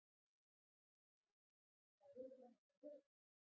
Rósa: Þær eru sem sagt að breytast?